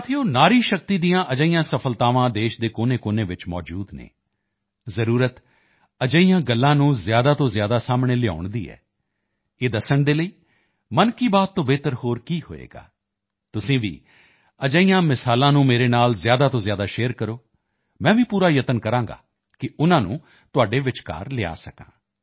ਸਾਥੀਓ ਨਾਰੀ ਸ਼ਕਤੀ ਦੀਆਂ ਅਜਿਹੀਆਂ ਸਫ਼ਲਤਾਵਾਂ ਦੇਸ਼ ਦੇ ਕੋਨੇਕੋਨੇ ਵਿੱਚ ਮੌਜੂਦ ਹਨ ਜ਼ਰੂਰਤ ਅਜਿਹੀਆਂ ਗੱਲਾਂ ਨੂੰ ਜ਼ਿਆਦਾ ਤੋਂ ਜ਼ਿਆਦਾ ਸਾਹਮਣੇ ਲਿਆਉਣ ਦੀ ਹੈ ਇਹ ਦੱਸਣ ਦੇ ਲਈ ਮਨ ਕੀ ਬਾਤ ਤੋਂ ਬਿਹਤਰ ਹੋਰ ਕੀ ਹੋਵੇਗਾ ਤੁਸੀਂ ਭੀ ਅਜਿਹੇ ਉਦਾਹਰਣਾਂ ਨੂੰ ਮੇਰੇ ਨਾਲ ਜ਼ਿਆਦਾ ਤੋਂ ਜ਼ਿਆਦਾ ਸ਼ੇਅਰ ਕਰੋ ਮੈਂ ਭੀ ਪੂਰਾ ਪ੍ਰਯਾਸ ਕਰਾਂਗਾ ਕਿ ਉਨ੍ਹਾਂ ਨੂੰ ਤੁਹਾਡੇ ਵਿਚਕਾਰ ਲਿਆ ਸਕਾਂ